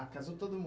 Ah, casou todo